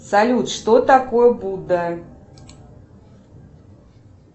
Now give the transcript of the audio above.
салют что такое будда